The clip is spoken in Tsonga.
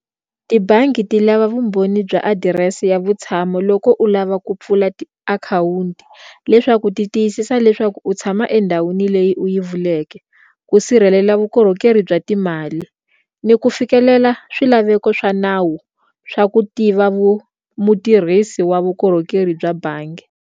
Tibangi ti lava vumbhoni bya adirese ya vutshamo loko u lava ku pfula akhawunti leswaku ti tiyisisa leswaku u tshama endhawini leyi u yi vuleke ku sirhelela vukorhokeri u bya timali ni ku fikelela swilaveko swa nawu swa ku tiva mutirhisi wa vukorhokeri bya bangi.